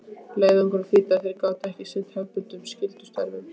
Leiðangurinn þýddi að þeir gátu ekki sinnt hefðbundnum skyldustörfum.